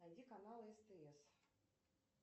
найди канал стс